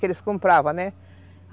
Que eles compravam, né?